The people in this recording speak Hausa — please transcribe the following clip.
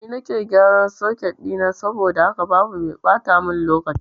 Ni nake gyaran soket ɗina saboda haka babu mai ɓata mun lokaci